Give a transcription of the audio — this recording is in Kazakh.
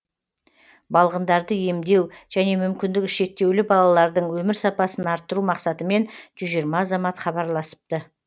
балғындарды емдеу және мүмкіндігі шектеулі балалардың өмір сапасын арттыру мақсатымен жүз жиырма азамат хабарласыпты